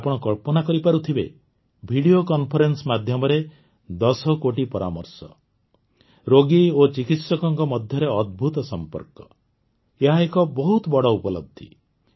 ଆପଣ କଳ୍ପନା କରିପାରୁଥିବେ ଭିଡିଓ କନ୍ଫରେନ୍ସ ମାଧ୍ୟମରେ ୧୦ କୋଟି ପରାମର୍ଶ ରୋଗୀ ଓ ଚିିକିତ୍ସକଙ୍କ ମଧ୍ୟରେ ଅଦ୍ଭୁତ ସମ୍ପର୍କ ଏହା ଏକ ବହୁତ ବଡ଼ ଉପଲବ୍ଧି